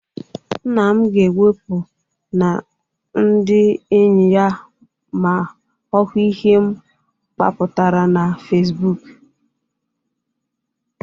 Nna ga-ewepu na ndị enyi ya ma ọ hụ ihe m gbapụtara na Fesibuuku.